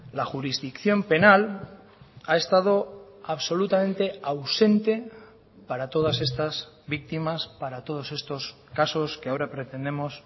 la jurisdicción penal ha estado absolutamente ausente para todas estas víctimas para todos estos casos que ahora pretendemos